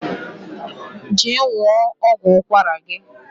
je ṅụọ ọgwụ ụkwara gi